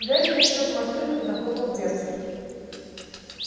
гарри влетел в машину и захлопнул дверцу